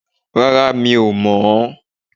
Rárá, mi ò mọ on